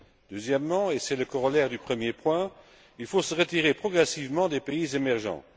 Deuxièmement, et c'est le corollaire du premier point, il faut se retirer progressivement des pays émergents.